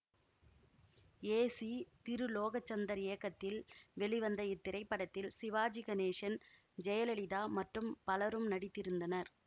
ஏ C Thirulokachandar இயக்கத்தில் வெளிவந்த இத்திரைப்படத்தில் சிவாஜி கணேசன் ஜெயலலிதா மற்றும் பலரும் நடித்திருந்தனர்